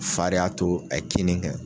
Fa de y'a to a ye kin ni kɛ